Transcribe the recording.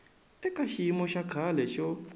eka xiyimo xa kahle xo